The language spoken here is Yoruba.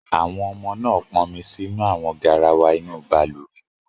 Àwọn ọmọ náà pọnmi sínú àwọn garawa inú balùwẹ̀?